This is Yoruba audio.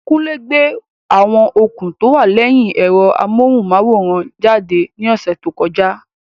Kunle gbé àwọn okùn tó wà lẹ́yìn ẹ̀rọ amóhùnmáwòrán jáde ní ọ̀sẹ̀ tó kọjá.